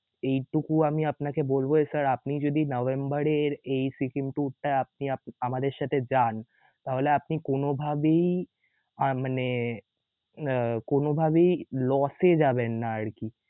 এইটুকু আমি আপনাকে বলব যে sir আপনি যদি নভেম্বর এর এই সিকিম tour টায় আপনি~আপ আমাদের সাথে যান তাহলে আপনি কোনভাবেই আ~মানে আহ কোনোভাবেই loss এ যাবেন না আরকি.